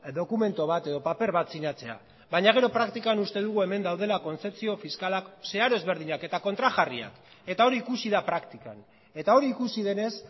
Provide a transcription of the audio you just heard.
dokumentu bat edo paper bat sinatzea baina gero praktikan uste dugu hemen daudela kontzepzio fiskalak zeharo ezberdinak eta kontrajarriak eta hori ikusi da praktikan eta hori ikusi denez